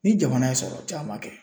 Ni jamana ye sɔrɔ caman kɛ.